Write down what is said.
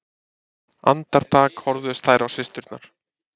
Andartak horfðust þær á systurnar.